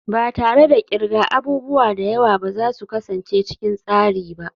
Ba tare da kirga abubuwa da yawa ba ba za su kasance cikin tsari ba.